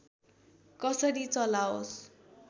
कसरी चलाओस्